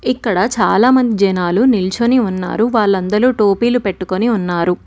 ఇక్కడ చాలామంద్ జనాలు నిల్చొని ఉన్నారు వాళ్ళందలూ టోపీలు పెట్టుకొని ఉన్నారు.